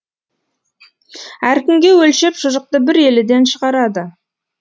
әркімге өлшеп шұжықты бір еліден шығарады